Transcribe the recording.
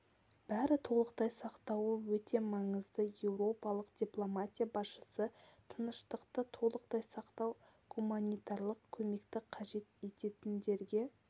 бәрі толықтай сақтауы өте маңызды еуропалық дипломатия басшысы тыныштықты толықтай сақтау гуманитарлық көмекті қажет ететіндерге